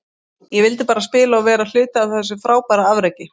Ég vildi bara spila og vera hluti af þessu frábæra afreki.